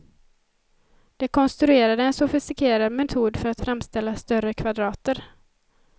De konstruerade en sofistikerad metod för att framställa större kvadrater.